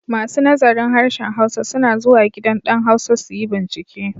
Masu nazarin Harshen Hausa suna zuwa gidan ɗan Hausa su yi bincike.